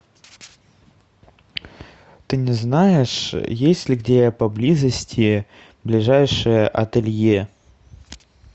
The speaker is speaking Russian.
ты не знаешь есть ли где поблизости ближайшее ателье